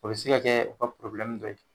O bi se ka kɛ u ka dɔ ye.